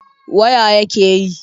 Waya yake yi?